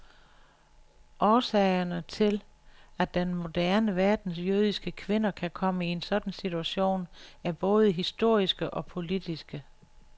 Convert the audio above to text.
Årsagerne, til at den moderne verdens jødiske kvinder kan komme i en sådan situation, er både historiske og politiske.